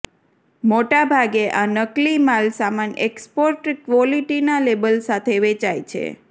મોટાભાગે આ નકલી માલસામાન એક્સપોર્ટ ક્વોલિટીના લેબલ સાથે વેચાય છે